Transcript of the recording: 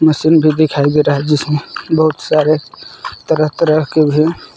machine भी दिखाई दे रहा है जिसमें बहुत सारे तरह तरह के भी--